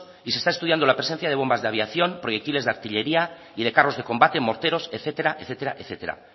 y se está estudiando la presencia de bombas de aviación proyectiles de artillería y de carros de combate morteros etcétera etcétera